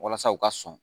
Walasa u ka sɔn